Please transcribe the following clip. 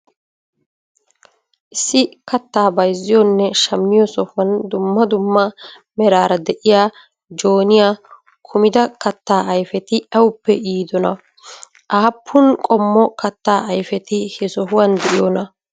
Issi kattaa bayziyonne shammiyo sohuwan dummaa duummaa meraara de'iya joonniya kumida kattaa ayfeti awuppe yidonaa? Aappun qommo kattaa ayfeti he sohuwan de'iyonaa?